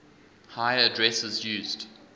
higher addresses used